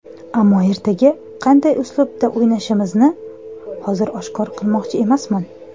Ammo ertaga qanday uslubda o‘ynashimizni hozir oshkor qilmoqchi emasman.